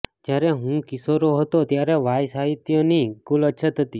જ્યારે હું કિશોરો હતો ત્યારે વાય સાહિત્યની કુલ અછત હતી